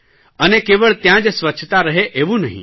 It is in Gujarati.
અને કેવળ ત્યાં જ સ્વચ્છતા રહે એવું નહીં